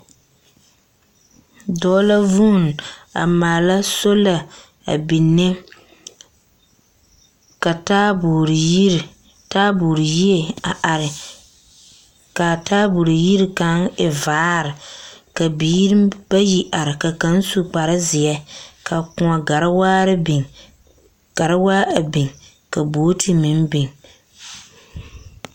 Dɔɔ la vuun a maala sola a binne, ka taabogre yiri taabogre yie a are, kaa taabogre yiri kaŋ e vaare ka biiri bayi are ka kaŋ su kparezeɛ ka kõɔ garewaare biŋ garewaa a biŋ ka booti meŋ biŋ.